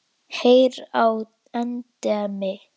Heyr á endemi!